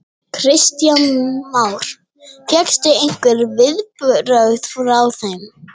Kristján Már: Fékkstu einhver viðbrögð frá þeim?